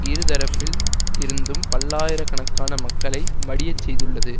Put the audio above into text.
இரு தரப்பில் இருந்தும் பல்லாயிர கணக்கான மக்களை மடியச் செய்துள்ளது